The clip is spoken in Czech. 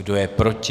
Kdo je proti?